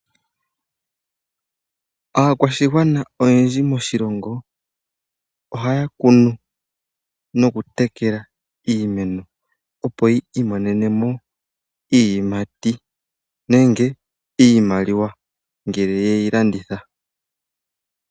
Aakwashigwana oyendji moshilongo ohaya kunu nokutekela iimeno opo yi imonenemo iiyimati nenge iimaliwa ngele yeyi landitha.